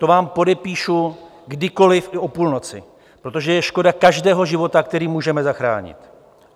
To vám podepíšu kdykoli i o půlnoci, protože je škoda každého života, který můžeme zachránit.